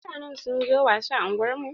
Mutanen sun zo wasa a unguwar mu.